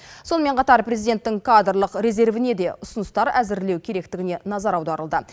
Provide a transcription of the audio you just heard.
сонымен қатар президенттің кадрлық резервіне де ұсыныстар әзірлеу керектігіне назар аударылды